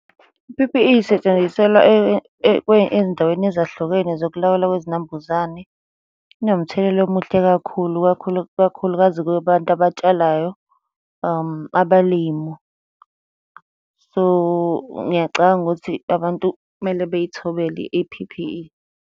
I-P_P_E isetshenziselwa ey'ndaweni ezahlukene zokulawulwa kwezinambuzane. Inomthelela omuhle kakhulu kakhulu, ikakhulukazi kubantu abatshalayo, abalimu. So, ngiyacabanga ukuthi abantu kumele bey'thobele i-P_P_E.